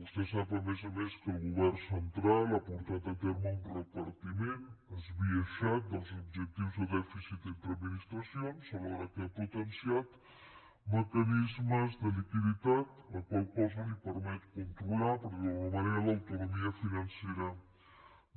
vostè sap a més a més que el govern central ha portat a terme un repartiment esbiaixat dels objectius de dèficit entre administracions alhora que ha potenciat mecanismes de liquiditat la qual cosa li permet controlar per dir ho d’alguna manera l’autonomia financera